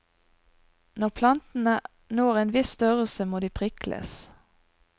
Når plantene når en viss størrelse, må de prikles.